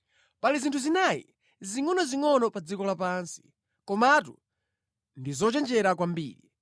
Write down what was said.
Pali zinthu zinayi zingʼonozingʼono pa dziko lapansi, komatu ndi zochenjera kwambiri: